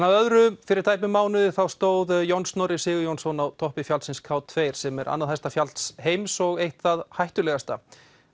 að öðru fyrir tæpum mánuði stóð John Snorri Sigurjónsson á toppi fjallsins k tveggja sem er annað hæsta fjall heims og eitt það hættulegasta